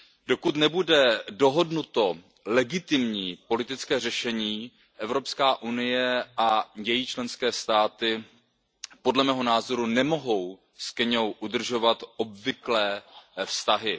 Dokud nebude dohodnuto legitimní politické řešení, EU a její členské státy podle mého názoru nemohou s Keňou udržovat obvyklé vztahy.